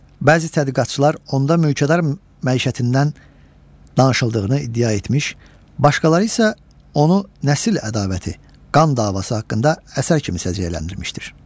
Bəzi tədqiqatçılar onda mülkədar məişətindən danışıldığını iddia etmiş, başqaları isə onu nəsil ədavəti, qan davası haqqında əsər kimi səciyyələndirmişdir.